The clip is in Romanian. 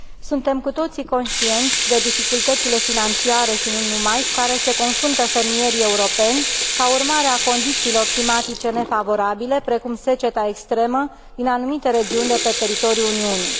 Suntem cu toții conștienți de dificultățile financiare și nu numai cu care se confruntă fermierii europeni ca urmare a condițiilor climatice nefavorabile, precum seceta extremă din anumite regiuni de pe teritoriul Uniunii.